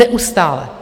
Neustále.